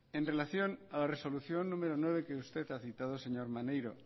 en relación a la resolución número nueve que usted ha citado señor maneiro